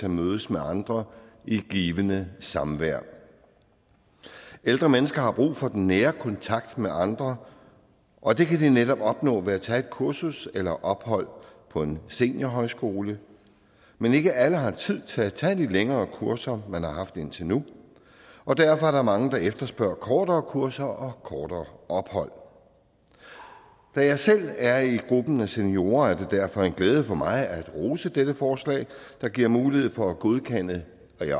at mødes med andre i givende samvær ældre mennesker har brug for den nære kontakt med andre og det kan de netop opnå ved at tage et kursus eller ophold på en seniorhøjskole men ikke alle har tid til at tage de længere kurser man har haft indtil nu og derfor er der mange der efterspørger kortere kurser og kortere ophold da jeg selv er i gruppen af seniorer er det derfor en glæde for mig at rose dette forslag der giver mulighed for at godkende